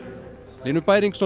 Hlynur Bæringsson